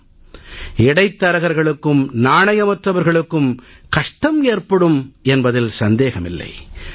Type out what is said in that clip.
ஆம் இடைத் தரகர்களுக்கும் நாணயமற்றவர்களுக்கும் கஷ்டம் ஏற்படும் என்பதில் சந்தேகமில்லை